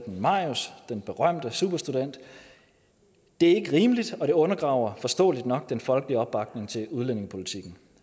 med marius den berømte superstudent det er ikke rimeligt og det undergraver forståeligt nok den folkelige opbakning til udlændingepolitikken